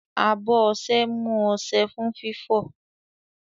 Abọ́ ọṣẹ mú ọṣẹ fún fífọ̀.